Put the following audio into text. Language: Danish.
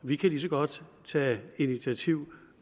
vi kan lige så godt tage initiativ